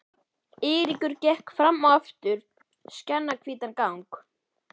Eiríkur gekk fram og aftur skjannahvítan gang.